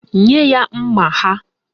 Nye ya mma ha!